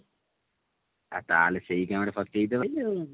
ଆ ତାହେଲେ ସେଇଥିପାଇଁ ଗୋଟେ ଫସିଯାଇଛି